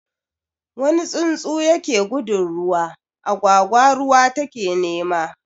Wuni tsuntsu yake gudun ruwa, agwagwa ruwa ta ke nema